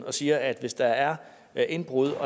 og siger at hvis der er er indbrud